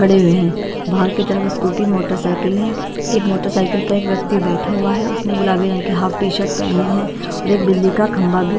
पडे हुए हैं बाहर की तरफ स्कूटी मोटरसाइकिल है एक मोटरसाइकिल पर एक व्यक्ति बैठा हुआ है उसने गुलाबी रंग की हाफ टी शर्ट पहनी है और एक बिजली का खंबा भी--